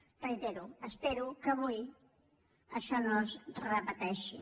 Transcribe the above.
ho reitero espero que avui això no es repeteixi